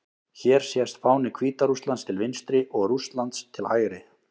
Hér sést fáni Hvíta-Rússlands til vinstri og Rússlands til hægri.